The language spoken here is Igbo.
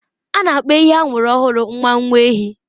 A na-akpọ ehi amụrụ ọhụrụ nwa nwa ehi.